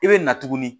I bɛ na tuguni